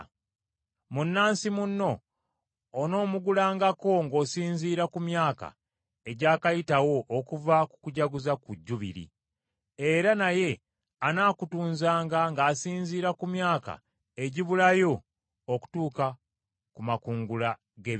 Munnansi munno onoomugulangako ng’osinziira ku myaka egyakayitawo okuva ku kujaguza ku Jjubiri. Era naye anaakutunzanga ng’asinziira ku myaka egibulayo okutuuka ku makungula g’ebibala.